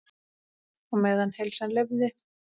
Á meðan heilsan leyfði.